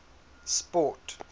sport